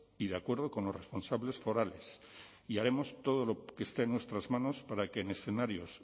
y de acuerdo con los responsables forales y haremos todo lo que esté en nuestras manos para que en escenarios